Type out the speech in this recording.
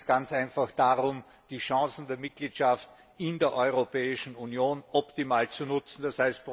Es geht jetzt ganz einfach darum, die Chancen der Mitgliedschaft in der Europäischen Union optimal zu nutzen, d.